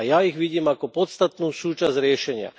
A ja ich vidím ako podstatnú súčasť riešenia.